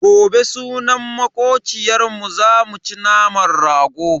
Gobe sunan makociyarmu zamu ci naman rago.